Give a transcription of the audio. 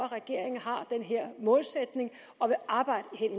regeringen har den her målsætning og vil arbejde hen